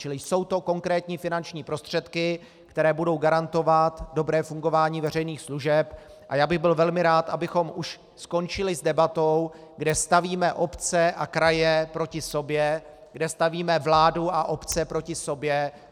Čili jsou to konkrétní finanční prostředky, které budou garantovat dobré fungování veřejných služeb, a já bych byl velmi rád, abychom už skončili s debatou, kde stavíme obce a kraje proti sobě, kde stavíme vládu a obce proti sobě.